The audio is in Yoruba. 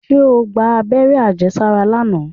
Ṣé o gba abẹ́rẹ́ àjẹsára lánàá?